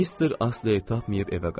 Mister Astley tapmayıb evə qayıtdım.